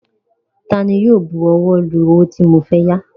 Taani yóò bu ọwọ́ lu owó tí mo fẹ́ yá?